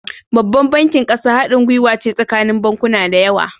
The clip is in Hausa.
Babban bankin ƙasa hadin guwace tsakanin bankuna dayawa